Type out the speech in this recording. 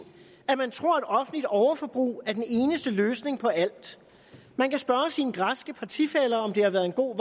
at man tror at offentligt overforbrug er den eneste løsning på alt man kan spørge sine græske partifæller om det har været en god